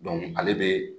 ale bɛ